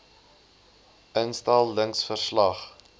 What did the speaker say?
instel lings verslag